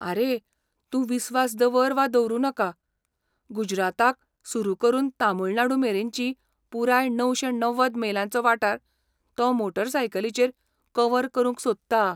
आरे, तूं विस्वास दवर वा दवरु नाका , गुजराताक सुरु करून तामिळनाडुमेरेनचो पुराय णवशे णव्वद मेलांचो वाठार तो मोटारसायकलीचेर कव्हर करूंक सोदता.